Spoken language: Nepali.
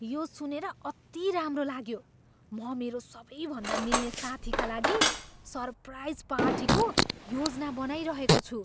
यो सुनेर अति राम्रो लाग्यो! म मेरो सबैभन्दा मिल्ने साथीका लागि सरप्राइज पार्टीको योजना बनाइरहेको छु।